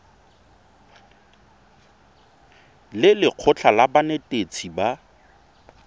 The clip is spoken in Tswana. le lekgotlha la banetetshi ba